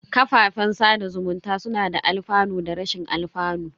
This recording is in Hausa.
Kafafen sada zumunta suna da alfanu da rashin alfanu.